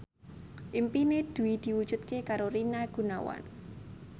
impine Dwi diwujudke karo Rina Gunawan